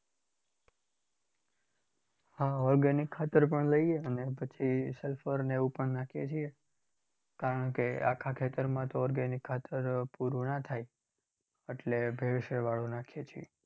હા organic ખાતર પણ લઈએ. અને પછી sulphur ને એવુ પણ નાખીએ છીએ. કારણ કે આખા ખેતરમાં તો organic ખાતર પુરુ ના થાય એટલે ભેળસેળવાળું નાખીએ છીએ.